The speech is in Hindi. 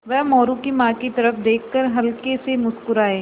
वह मोरू की माँ की तरफ़ देख कर हल्के से मुस्कराये